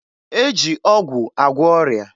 E ji ọgwụ agwọ ọrịa.